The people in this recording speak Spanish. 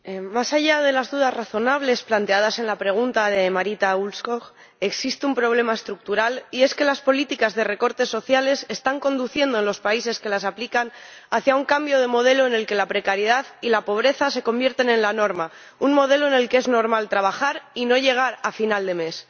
Señora Presidenta, más allá de las dudas razonables planteadas en la pregunta de Marita Ulvskog existe un problema estructural, y es que las políticas de recortes sociales están conduciendo a los países que las aplican hacia un cambio de modelo en el que la precariedad y la pobreza se convierten en la norma, un modelo en el que es normal trabajar y no llegar a final de mes.